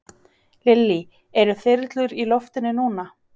Lillý: Eru þyrlur í loftinu núna?